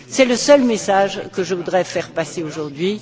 C'est le seul message que je voudrais faire passer aujourd'hui.